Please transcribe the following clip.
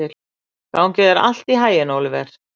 Gangi þér allt í haginn, Óliver.